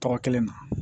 Tɔgɔ kelen na